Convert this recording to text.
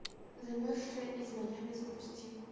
замерзшая из майами запусти